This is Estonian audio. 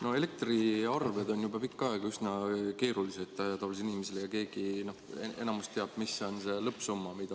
No elektriarved on juba pikka aega olnud tavalisele inimesele üsna keerulised ja enamus teab, mis on lõppsumma.